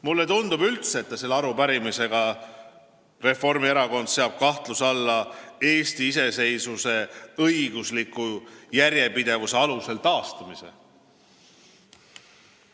Mulle üldse tundub, et selle arupärimisega seab Reformierakond kahtluse alla Eesti iseseisvuse õigusliku järjepidevuse alusel taastamise.